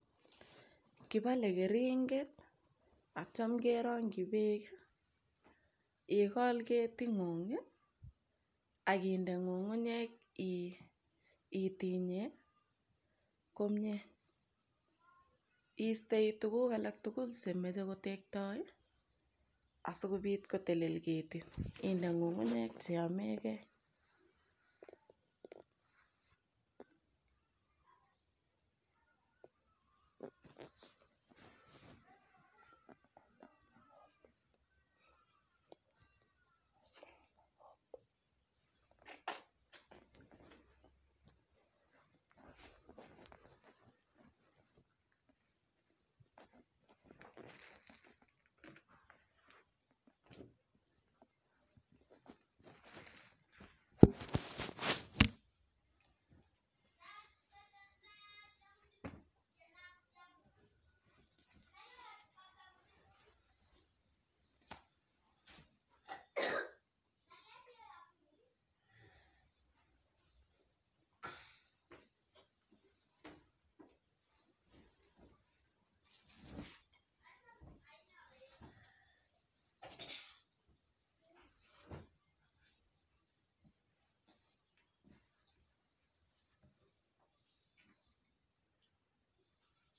Kipale keringet atiam kerongyi beek ikol ketitng'ug akinde ng'ung'unyek. Itinye komie iistei tukuk alak tugul chemejei kotektoi asikopit kotelel ketit inde ng'ung'unyek che yamegei.